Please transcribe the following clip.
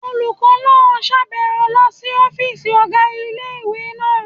Olùkọ́ náà sàbẹ̀wo lọ sí ọ́fìsì ọ̀gá ilé-ìwé náà